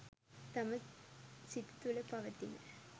තම සිත තුළ පවතින